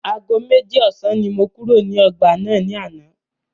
Aago méjì ọ̀sán ni mo kúrò nínú ọgbà náà ní àná.